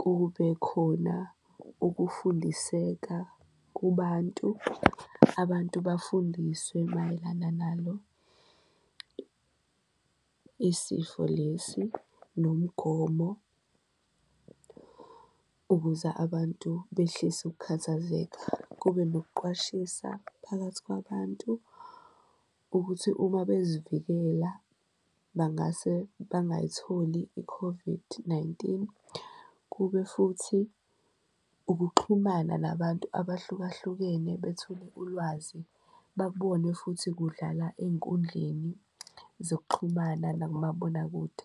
kube khona ukufundiseka kubantu, abantu bafundiswe mayelana nalo isifo lesi nomgomo ukuze abantu behlise ukukhathazeka. Kube nokuqwashisa phakathi kwabantu ukuthi uma bezivikela bangase bangayitholi i-COVID-19, kube futhi ukuxhumana nabantu abahlukahlukene bethole ulwazi, babone futhi kudlala ey'nkundleni zokuxhumana nakumabonakude.